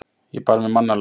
Ég bar mig mannalega.